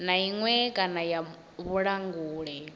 na iṅwe kana ya vhulanguli